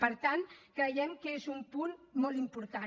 per tant creiem que és un punt molt important